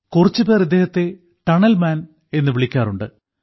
കുറച്ചുപേർ ഇദ്ദേഹത്തെ tunnel man എന്നു വിളിക്കാറുണ്ട്